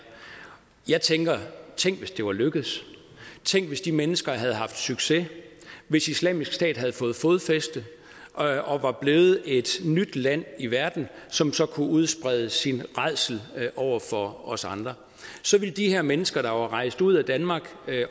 jeg tænker tænk hvis det var lykkedes tænk hvis de mennesker havde haft succes hvis islamisk stat havde fået fodfæste og var blevet et nyt land i verden som så kunne udsprede sin rædsel over for os andre så ville de her mennesker der var rejst ud af danmark